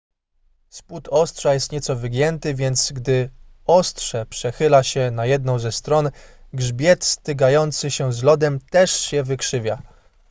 spód ostrza jest nieco wygięty więc gdy ostrze przechyla się na jedną ze stron grzbiet stykający się z lodem też się wykrzywia